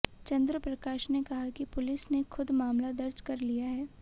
चंद्र प्रकाश ने कहा कि पुलिस ने खुद मामला दर्ज कर लिया है